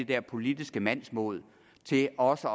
der politiske mandsmod til også